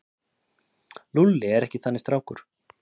Lúlli er ekki þannig strákur.